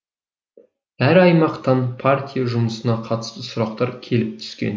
әр аймақтан партия жұмысына қатысты сұрақтар келіп түскен